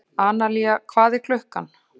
Analía, hvað er klukkan?